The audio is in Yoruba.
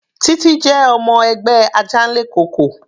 Titi jẹ́ ọmọ ẹgbẹ́ Ajanlekoko.